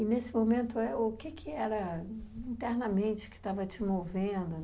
E, nesse momento, é, o que que era internamente que estava te movendo?